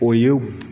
O ye